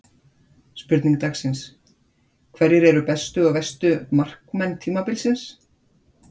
Spurning dagsins: Hverjir eru bestu og verstu markmenn tímabilsins?